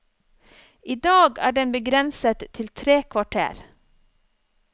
I dag er den begrenset til tre kvarter.